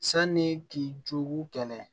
Sanni k'i jogi kɛlɛ